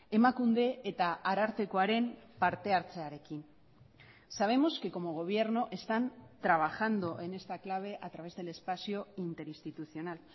emakunde eta arartekoaren parte hartzearekin sabemos que como gobierno están trabajando en esta clave a través del espacio interinstitucional